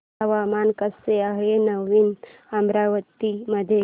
हवामान कसे आहे नवीन अमरावती मध्ये